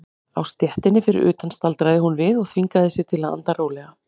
Á stéttinni fyrir utan staldraði hún við og þvingaði sig til að anda rólega.